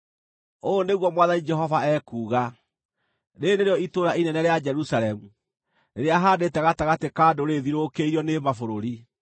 “Ũũ nĩguo Mwathani Jehova ekuuga: Rĩĩrĩ nĩrĩo itũũra inene rĩa Jerusalemu, rĩrĩa haandĩte gatagatĩ ka ndũrĩrĩ rĩthiũrũkĩirio nĩ mabũrũri.